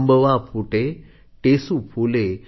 अंबवा फूटे टेसू फूले